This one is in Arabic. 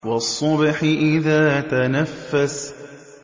وَالصُّبْحِ إِذَا تَنَفَّسَ